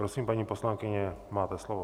Prosím, paní poslankyně, máte slovo.